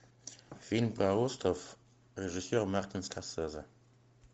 фильм про остров режиссер мартин скорсезе